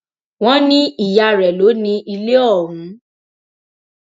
wọn ní ìyá rẹ lọ ní ilé ọhún